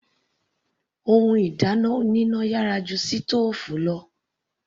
Ohun ìdáná oníná yàrá ju sítòòfù lọ.